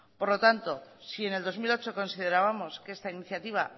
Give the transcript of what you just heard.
por lo tanto si en el dos mil ocho considerábamos que esta iniciativa